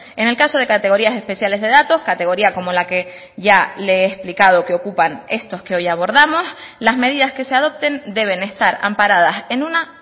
en el caso de categorías especiales de datos categoría como la que ya le he explicado que ocupan estos que hoy abordamos las medidas que se adopten deben estar amparadas en una